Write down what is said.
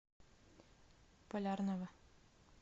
полярного